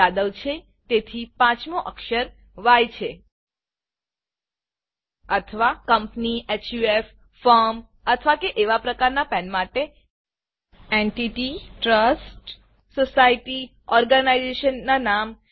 યાદવ છે તેથી 5 મી અક્ષર ય છે અથવા કંપની હફ ફર્મ અથવા એવા પ્રકાર ના પેન માટે એન્ટિટી ટ્રસ્ટ સોસાયટી ઓર્ગેનાઇઝેશન ના નામ